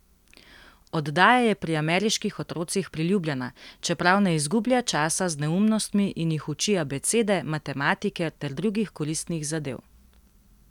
Oddaja je pri ameriških otrocih priljubljena, čeprav ne izgublja časa z neumnostmi in jih uči abecede, matematike ter drugih koristnih zadev.